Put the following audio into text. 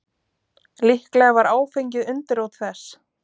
Líklega var áfengið undirrót þess.